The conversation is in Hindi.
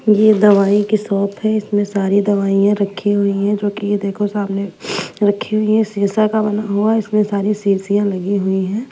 पीली दवाई के साथ है इसमे सारी दवाई रखी हुई जो कि ये देखो सामने रखी हुई है शीशा के मतलब हुआ इसमे सारी शीशिया लगी हुई है।